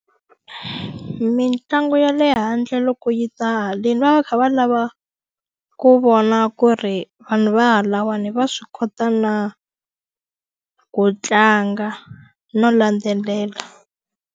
Mitlangu ya le handle loko yi ta haleni va va va kha va lava ku vona ku ri vanhu va halawani va swi kota na ku tlanga no landzelela.